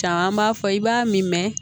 Caman b'a fɔ i b'a min mɛn